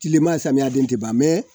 Tilema samiyɛ den tɛ ban